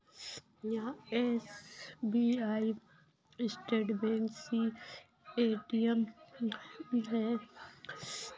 यहाँ SBI state bank सी ATM है।